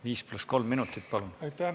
Viis pluss kolm minutit, palun!